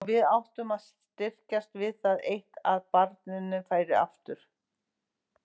Og við sem áttum að styrkjast við það eitt að barninu færi aftur.